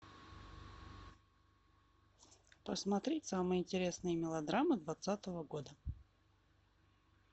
посмотреть самые интересные мелодрамы двадцатого года